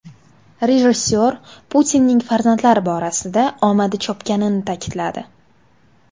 Rejissor Putinning farzandlar borasida omadi chopganini ta’kidladi.